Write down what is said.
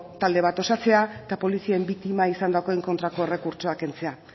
talde bat osatzea eta polizien biktima izandakoen kontrako errekurtsoa kentzea